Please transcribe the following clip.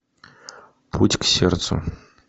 путь к сердцу